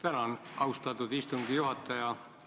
Tänan, austatud istungi juhataja!